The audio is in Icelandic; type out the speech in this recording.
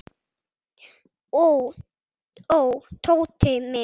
Ó, ó, Tóti minn.